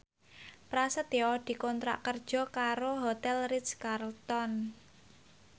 Prasetyo dikontrak kerja karo Hotel Ritz Carlton